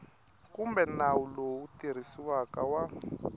kumbe nawu lowu tirhisiwaka wa